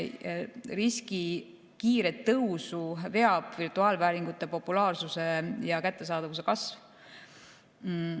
Riski kiiret tõusu veab virtuaalvääringute populaarsuse ja kättesaadavuse kasv.